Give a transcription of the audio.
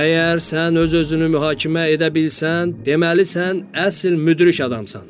Əgər sən öz-özünü mühakimə edə bilsən, deməli sən əsl müdrik adamsan.